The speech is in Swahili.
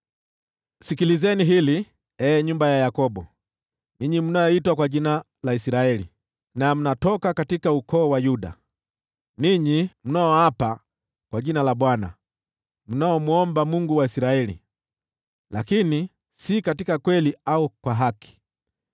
“Sikilizeni hili, ee nyumba ya Yakobo, ninyi mnaoitwa kwa jina la Israeli, na mnaotoka katika ukoo wa Yuda, ninyi mnaoapa kwa jina la Bwana , mnaomwomba Mungu wa Israeli, lakini si katika kweli au kwa haki;